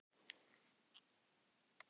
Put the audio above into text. Gangi þér allt í haginn, Annel.